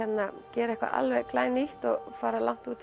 gera eitthvað nýtt og fara út